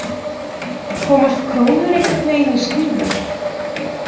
Komast krónur einhvern veginn í skífu